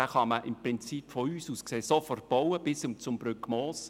Diesen kann man von uns aus sofort bis hin zum Brückmoos bauen.